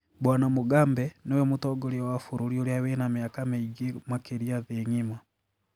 Bw Mugabe niwe mũtongoria wa bũrũri ũria wina miaka mĩingĩ makĩria thii ng'ima.